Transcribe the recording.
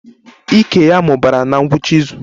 Ike ya mụbara na ngwụcha izu